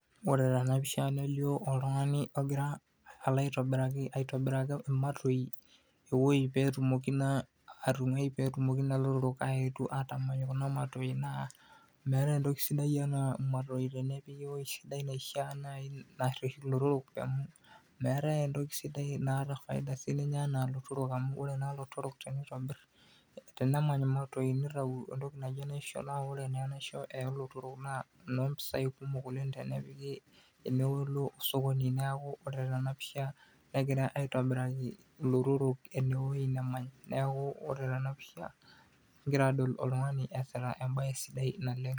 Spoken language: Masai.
Oore teena pisha nelio oltung'ani ogira aalo aitobiraki ewueji imatoi, pee etumoki naa atung'ai pee etumoki naa ilotorok aetu atamany kuna matoi naa meetae entoki sidai enaa imatoi tenepiki ewueji sidai naaji naishiaa naresh ilotorok amuu meetae entoki sidai naata faida enaa ilotorok amuu oore naa ilotorok teneitobir, tenemany imatoi neitau entoki naji enaisho naa oore naa enaisho olotorok naa inompisai kumok oleng tenepiki teneulo osokoni niaku oore teena pisha kegirae aitobiraki ilotorok ewueji nemany. Niaku oore teena pisha, kigira aadol oltung'ani iasita embaye sidai naleng.